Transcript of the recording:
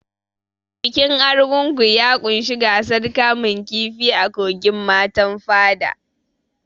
Bikin Argungu ya ƙunshi gasar kamun kifi a kogin Matan Fada.